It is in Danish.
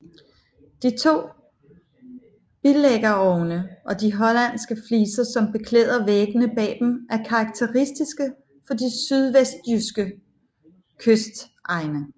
De to bilæggerovne og de hollandske fliser som beklæder væggene bag dem er karakteristiske for de sydvestjyske kystegne